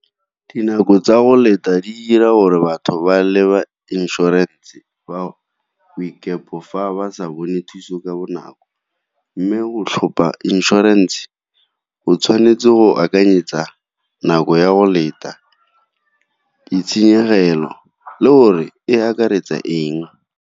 Dinako tsa go leta di dira gore batho ba le ba inšorense ba fa ba sa bone thuso ka bonako mme o tlhopha inšorense go tshwanetse go akanyetsa nako ya go leta, ditshenyegelo le gore e akaretsa eng.